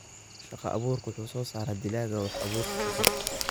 Shaqo-abuurka Wax-soo-saarka dalagga wuxuu abuuraa shaqo.